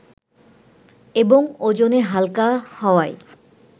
এবং ওজনে হালকা হওয়ায়